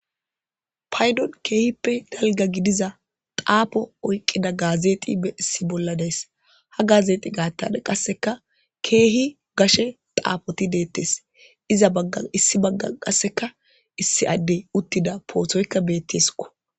Paydon keehippe dalga gidiza xaapo oyqqida gaazeeti e issi bolla dees ha gaazeexi gaatada qasseka keehi gashe xaafoti deettes iza bagga issi bagga qasseka issi addey uttida poothoykka beettisqo.